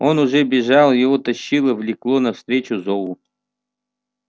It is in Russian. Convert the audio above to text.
он уже бежал его тащило влекло навстречу зову